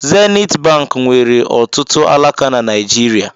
Zenit bank nwere ọtụtụ alaka na Naịjirịa.